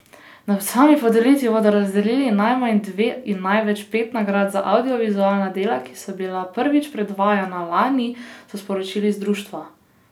Na sami podelitvi bodo razdelili najmanj dve in največ pet nagrad za avdiovizualna dela, ki so bila prvič predvajana lani, so sporočili z društva.